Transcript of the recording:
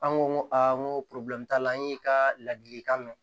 An ko n ko n ko t'a la an y'i ka ladilikan mɛn